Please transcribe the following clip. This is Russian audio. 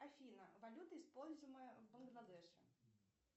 афина валюта используемая в бангладеше